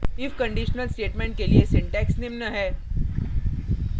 if conditional statement के लिए syntax निम्न है